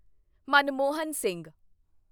Manmohan Singh